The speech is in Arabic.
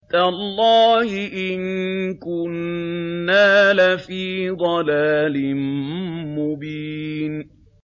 تَاللَّهِ إِن كُنَّا لَفِي ضَلَالٍ مُّبِينٍ